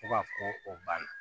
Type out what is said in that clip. Fo ka fɔ ko o banna